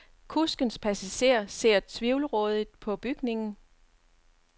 Kuskens passager ser tvivlrådigt på bygningen.